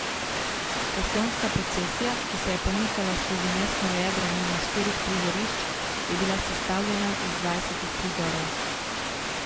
Pasijonska procesija, ki se je pomikala skozi mestno jedro mimo štirih prizorišč, je bila sestavljena iz dvajsetih prizorov.